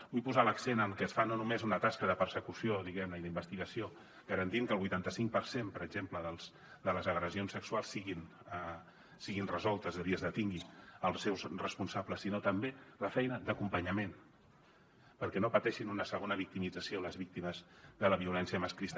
vull posar l’accent en què es fa no només una tasca de persecució diguem ne i d’investigació garantint que el vuitanta cinc per cent per exemple de les agressions sexuals siguin resoltes és a dir es detingui els seus responsables sinó també la feina d’acompanyament perquè no pateixin una segona victimització les víctimes de la violència masclista